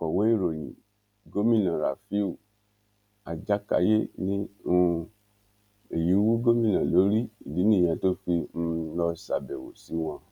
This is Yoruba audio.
akọwé ìròyìn gómìnà rafiu ajákáyé ní um èyí wú gómìnà lórí ìdí nìyẹn tó fi um lọọ ṣàbẹwò sí wọn